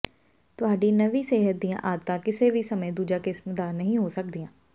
ਤੁਹਾਡੀ ਨਵੀਂ ਸਿਹਤ ਦੀਆਂ ਆਦਤਾਂ ਕਿਸੇ ਵੀ ਸਮੇਂ ਦੂਜੀ ਕਿਸਮ ਦਾ ਨਹੀਂ ਹੋ ਸਕਦੀਆਂ